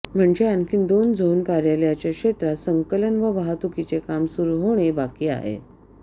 म्हणजे आणखी दोन झोन कार्यालयाच्या क्षेत्रात संकलन व वाहतुकीचे काम सुरू होणे बाकी आहे